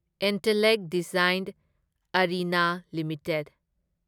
Intellect Design Arena limited